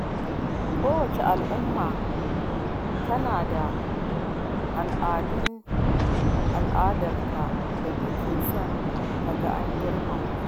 Kowace al’umma tana da al’adarta da take son ta ga an girmama